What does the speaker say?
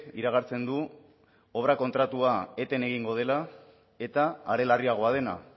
iragartzen du obra kontratua eten egingo dela eta are larriagoa dena